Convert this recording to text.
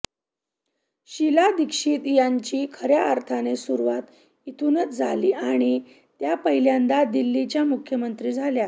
शीला दीक्षित यांची खऱ्या अर्थाने सुरुवात इथूनच झाली आणि त्या पहिल्यांदा दिल्लीच्या मुख्यमंत्री झाल्या